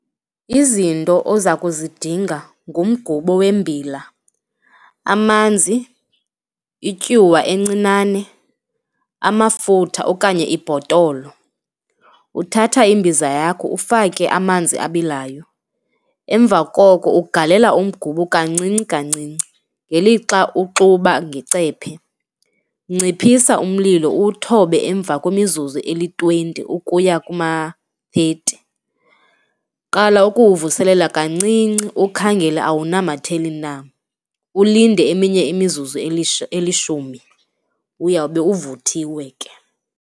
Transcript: Izinto oza kuzidinga ngumgubo wembila, amanzi, ityuwa encinane, amafutha okanye ibhotolo. Uthatha imbiza yakho ufake amanzi abilayo, emva koko ugalela umgubo kancinci kancinci ngelixa uxuba ngecephe. Nciphisa umlilo uthobe emva kwemizuzu eli-twenty ukuya kuma-thirty. Qala ukuwuvuselela kancinci, ukhangela awunamatheli na, ulinde eminye imizuzu elishumi uyawube uvuthiwe ke.